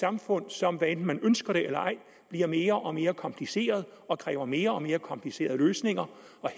samfund som hvad enten man ønsker det eller ej bliver mere og mere kompliceret og kræver mere og mere komplicerede løsninger